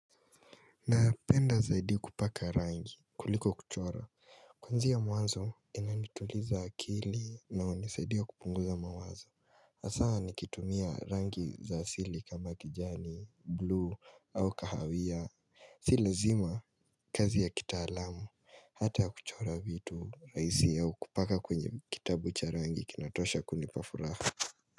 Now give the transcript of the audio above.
Napenda zaidi kupaka rangi kuliko kuchora Kwanzia mwanzo inanituliza akili na hunisaidia kupunguza mawazo haswa nikitumia rangi za asili kama kijani bluu au kahawia Si lazima kazi ya kitaalamu hata ya kuchora vitu rahisi au kupaka kwenye kitabu cha rangi kinatosha kunipa furaha.